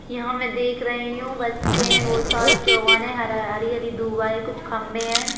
यहाँ मैं देख रही हूं बच्चे वो सारे चौगाने हरा हरी हरी दूए कुछ खम्बे हैं।